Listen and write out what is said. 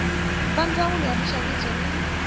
va ndzawulo ya minxaviso na